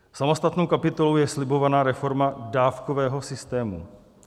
Samostatnou kapitolou je slibovaná reforma dávkového systému.